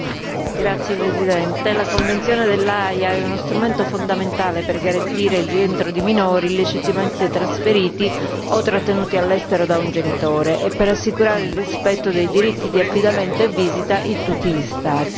Signora Presidente, onorevoli colleghi, la Convenzione dell'Aia è uno strumento fondamentale per garantire il rientro di minori illegittimamente trasferiti o trattenuti all'estero da un genitore e per assicurare il rispetto dei diritti di affidamento e visita in tutti gli Stati.